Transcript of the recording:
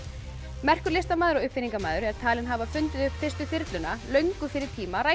merkur listamaður og uppfinningamaður er talinn hafa fundið upp fyrstu þyrluna löngu fyrir tíma